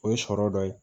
O ye sɔrɔ dɔ ye